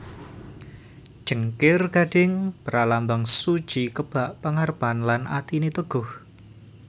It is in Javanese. Cengkir gading pralambang suci kebak pangarepan lan atiné teguh